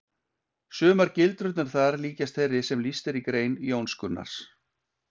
Sumar gildrurnar þar líkjast þeirri sem lýst er í grein Jóns Gunnars.